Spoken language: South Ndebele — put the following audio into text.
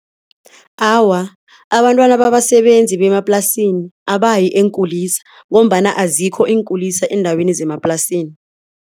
Awa, abantwana babasebenzi bemaplasini abayi eenkulisa ngombana azikho iinkulisa eendaweni zemaplasini.